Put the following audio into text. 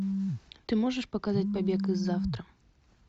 ты можешь показать побег из завтра